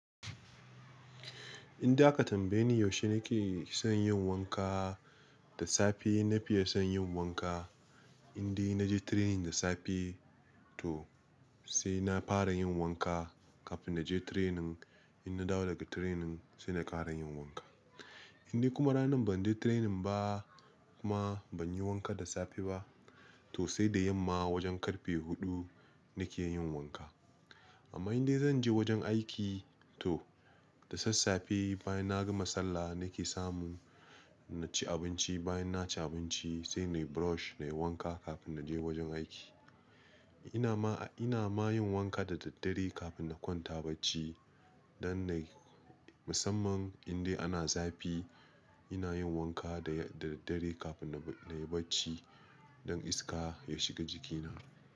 Inda aka tambaye ni yaushe nake son yin wanka da safe, na fiye son yin wanka. Inde naje training da safe to sai na fara yin wanka kafin naje training. In na dawo daga training sai na ƙarayin wanka. Inde kuma ranan banje training ba kuma ban yi wanka da safe ba to sai da yamma wajen karfe huɗu nake yin wanka. Amma inda zanje wajen aiki to da sassafe bayan nagama sallah nake samu naci abinci. Bayan naci abinci sai nayi brush na yi wanka kafin naje wajen aiki. Ina ma, ina mayin wanka da daddare kafin na kwanta bacci dan na-- musamman indai ana zafi. Inayin wanka da, da daddare kafin na, nayi bacci don iska ya shiga jikina.